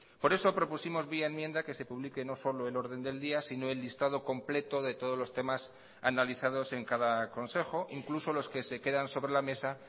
por eso propusimos vía enmienda que se publique no solo el orden del día sino el listado completo de todos los temas analizados en cada consejo incluso los que se quedan sobre la mesa